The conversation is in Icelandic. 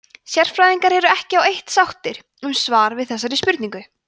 sérfræðingar eru ekki á eitt sáttir um svar við þessari spurningu